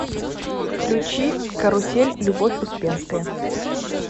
включи карусель любовь успенская